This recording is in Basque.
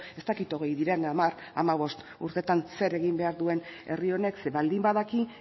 ez dakit hogei diren hamar hamabost urteetan zer egin behar duen herri honek zeren baldin badaki